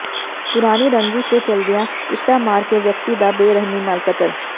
ਪੁਰਾਣੀ ਰੰਜਿਸ਼ ਦੇ ਚੱਲਦਿਆਂ ਇੱਟਾਂ ਮਾਰ ਕੇ ਵਿਅਕਤੀ ਦਾ ਬੇਰਹਿਮੀ ਨਾਲ ਕਤਲ